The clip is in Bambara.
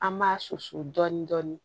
An b'a susu dɔɔnin dɔɔnin